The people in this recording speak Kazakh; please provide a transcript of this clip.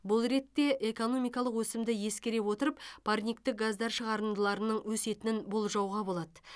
бұл ретте экономикалық өсімді ескере отырып парниктік газдар шығарындыларының өсетінін болжауға болады